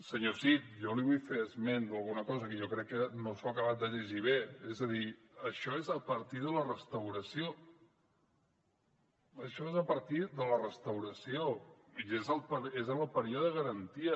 senyor cid jo li vull fer esment d’alguna cosa que jo crec que no s’ha acabat de llegir bé és a dir això és a partir de la restauració això és a partir de la restauració i és en el període de garantia